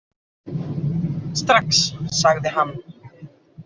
Strax, sagði hann.